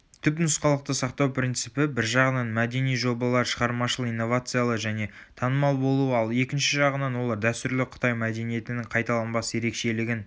түпнұсқалықты сақтау принципі бір жағынан мәдени жобалар шығармашыл инновациалы және танымал болуы ал екінші жағынан олар дәстүрлі қытай мәдениетінің қайталанбас ерекшелігін